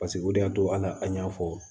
Paseke o de y'a to ala an y'a fɔ